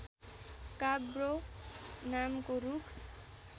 काब्रो नामको रूख